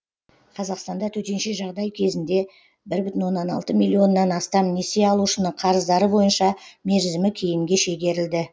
қазақстанда төтенше жағдай кезінде бір бүтін оннан алты миллионнан астам несие алушының қарыздары бойынша мерзімі кейінге шегерілді